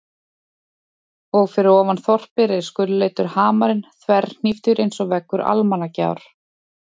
Og fyrir ofan þorpið reis gulleitur hamarinn þverhníptur einsog veggur Almannagjár.